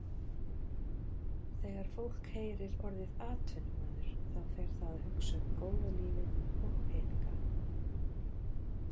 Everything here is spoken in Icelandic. Þegar fólk heyrir orðið atvinnumaður þá fer það að hugsa um góða lífið og peninga.